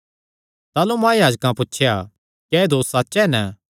ताह़लू महायाजकैं पुछया क्या एह़ दोस सच्च हन